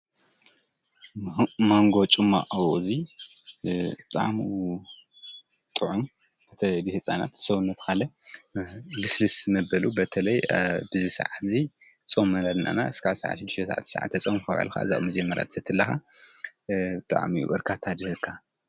ማኒጎ ጭማቆ ወዚ ጣዕሙ ጥዑሙ ብተለይ ኒህፃነት ኒሰዉነት ካለ ኒካሊእ ልስልስ መበል በተለይ ኣብዚ ሳዓት እዚ ፅም ክሳብ ሽድሺተ ሳዓት ክሳብ ትሻዓተ ሳዓት ፆምካ ዉዕሊካ እዚኣ ክትሰተይ ከለካ ብጣዕሚ እየ በርካታ ዚህበካ::